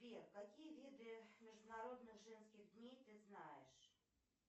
сбер какие виды международных женских дней ты знаешь